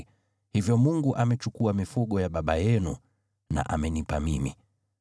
Hivyo Mungu amechukua mifugo ya baba yenu na amenipa mimi.